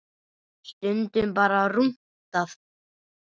Stundum bara rúntað.